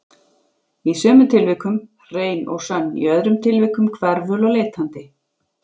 Í sumum tilvikum hrein og sönn, í öðrum tilvikum hverful og leitandi.